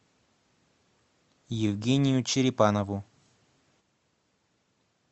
евгению черепанову